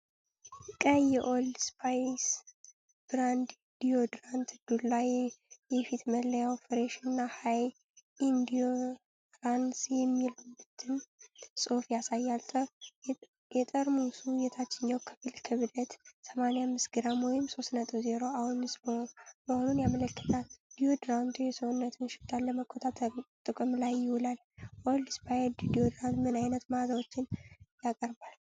ቀይ የኦልድ ስፓይስ ብራንድ ዲዮድራንት ዱላ። የፊት መለያው "ፍሬሽ" እና "ሃይ ኢንዲዩራንስ" የሚሉትን ጽሑፎች ያሳያል። የጠርሙሱ የታችኛው ክፍል ክብደት 85ግራም ወይም 3.0አውንስ መሆኑን ያመለክታል። ዲዮድራንቱ የሰውነት ሽታን ለመቆጣጠር ጥቅም ላይ ይውላል። ኦልድ ስፓይስ ዲዮድራንት ምን ዓይነት መዓዛዎችን ያቀርባል?